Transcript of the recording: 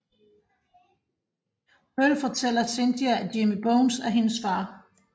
Pearl fortæller Cynthia at Jimmy Bones er hendes far